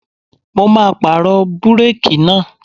Mo máa pàrọ̀ búrákì náà.